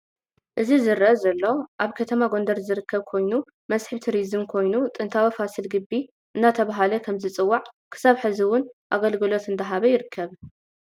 እዚ ዝርአ ዘሎ ኣብ ከተማ ጎንደር ዝርከብ ኮይ መስሕብ ቲርዝም ኮይኑ ጥንታዊ ፋስል ግቢ እዳተበሃለ ከም ዝፅዋዕ እስካብ ሕዚ እውን ኣገልግሎት እዳሃበ ይርከብ።